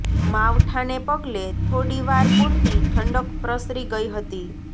માવઠાંને પગલે થોડી વાર પૂરતી ઠંડક પ્રસરી ગઈ હતી